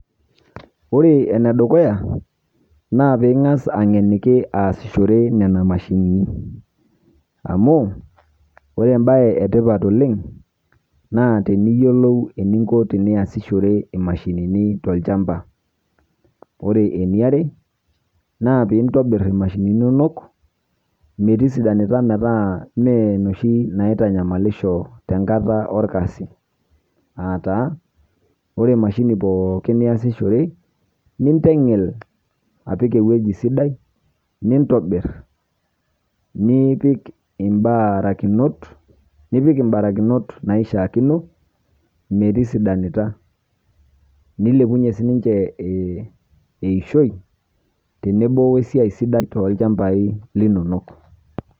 Ore ene dukuya naa piing'as ang'eniki aasishore nena mashini amu ore embaye etipat oleng' naa teniyiolou eninko teniasishore imashinini tolchamba, ore eniare naa tenintobirr imashinini inonok metisidanita metaa mee inoshi naitanyamalisho tenkata orkasi aa taa ore emahini pookin niasishore ninteng'el apik ewueji sidai nintobirr nipik imbarakinot naishiakino metisidanita nilepunyie sininche eishoi tenebo oosiai sidai tolchambaai linonok.